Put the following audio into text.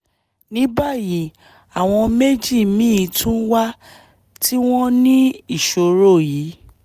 ní báyìí àwọn méjì míì tún wà tí wọ́n ní ìṣòro yìí